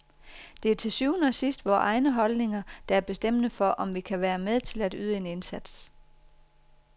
Det er til syvende og sidst vore egne holdninger, der er bestemmende for, om vi kan være med til at yde en indsats.